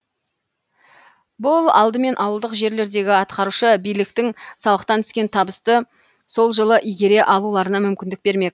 бұл алдымен ауылдық жерлердегі атқарушы биліктің салықтан түскен табысты сол жылы игере алуларына мүмкіндік бермек